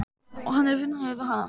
Og hann er vinalegur við hana.